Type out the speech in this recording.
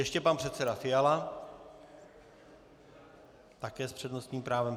Ještě pan předseda Fiala, také s přednostním právem.